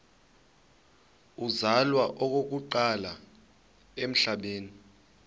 uzalwa okokuqala emhlabeni